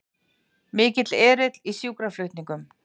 Mikill erill í sjúkraflutningum